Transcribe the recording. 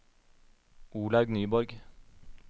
Olaug Nyborg